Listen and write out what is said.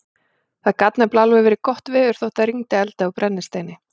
Það gat nefnilega alveg verið gott veður þótt það rigndi eldi og brennisteini.